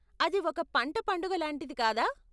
అది ఒక పంట పండుగ లాంటిది కాదా?